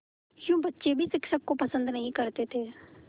यूँ बच्चे भी शिक्षक को पसंद नहीं करते थे